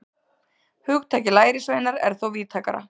Hugtakið lærisveinar er þó víðtækara.